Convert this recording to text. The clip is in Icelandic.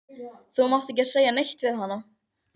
Þú mátt ekki segja neitt við hana.